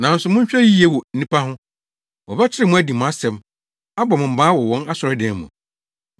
Nanso monhwɛ yiye wɔ nnipa ho! Wɔbɛkyere mo adi mo asɛm, abɔ mo mmaa wɔ wɔn asɔredan mu.